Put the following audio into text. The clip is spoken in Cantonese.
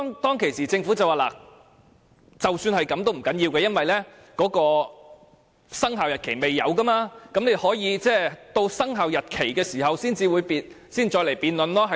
當時，政府的答覆是不要緊，因為生效日期未定，議員可以在通過生效日期公告時再作辯論。